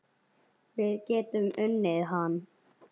Við getum unnið hann